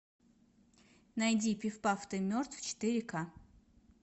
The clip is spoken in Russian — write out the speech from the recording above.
найди пиф паф ты мертв четыре ка